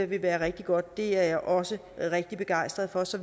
vil være rigtig godt det er jeg også rigtig begejstret for så